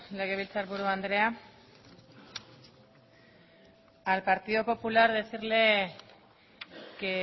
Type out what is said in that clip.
legebiltzarburu andrea al partido popular decirle que